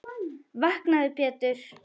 Vaknaðu Pétur.